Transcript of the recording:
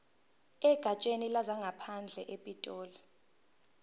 egatsheni lezangaphandle epitoli